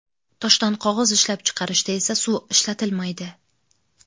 Toshdan qog‘oz ishlab chiqarishda esa suv ishlatilmaydi.